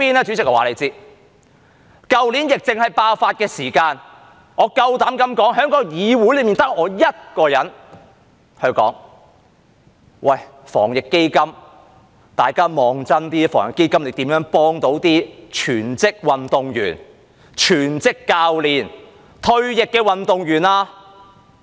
主席，我告訴你，去年疫症爆發時，我敢說在議會內只得我一人問：大家看真一點，防疫基金如何幫助全職運動員、全職教練、退役的運動員呢？